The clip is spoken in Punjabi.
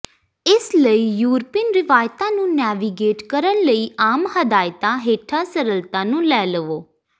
ਇਸ ਲਈ ਯੂਰਪੀਨ ਰਿਵਾਇਤਾਂ ਨੂੰ ਨੈਵੀਗੇਟ ਕਰਨ ਲਈ ਆਮ ਹਦਾਇਤਾਂ ਹੇਠਾਂ ਸਰਲਤਾ ਨੂੰ ਲੈ ਲਵੋ